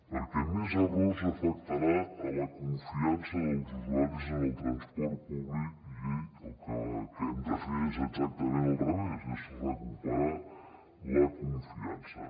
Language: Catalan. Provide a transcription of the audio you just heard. perquè més errors afectaran la confiança dels usuaris en el transport públic i el que hem de fer és exactament al revés és recuperar la confiança